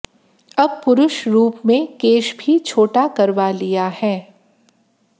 अब पुरुष रूप में केश भी छोटा करवा लिया है